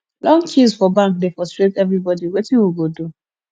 long queues for bank dey frustrate everybody wetin we go do